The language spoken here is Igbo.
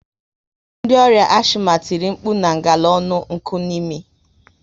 Ndi ọrià ashima tìrì nkpu na ngala ọnụ nkunimi